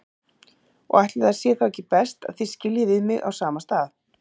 Og ætli sé þá ekki best að þið skiljið við mig á sama stað.